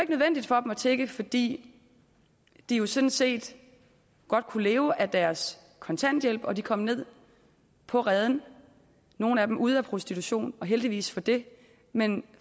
nødvendigt for dem at tigge fordi de jo sådan set godt kunne leve af deres kontanthjælp de kom ned på reden nogle af dem ude af prostitution og heldigvis for det men